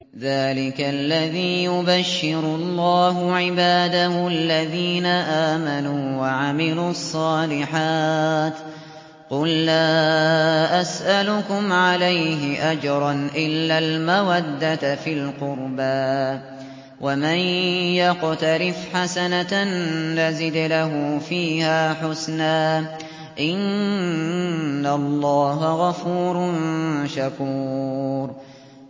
ذَٰلِكَ الَّذِي يُبَشِّرُ اللَّهُ عِبَادَهُ الَّذِينَ آمَنُوا وَعَمِلُوا الصَّالِحَاتِ ۗ قُل لَّا أَسْأَلُكُمْ عَلَيْهِ أَجْرًا إِلَّا الْمَوَدَّةَ فِي الْقُرْبَىٰ ۗ وَمَن يَقْتَرِفْ حَسَنَةً نَّزِدْ لَهُ فِيهَا حُسْنًا ۚ إِنَّ اللَّهَ غَفُورٌ شَكُورٌ